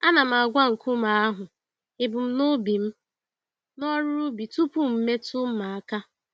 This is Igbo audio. Ana m agwa nkume ahụ ebum nobi mụ n'ọrụ ubi tupu m metụ mma aka.